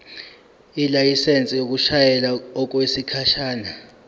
ilayisensi yokushayela okwesikhashana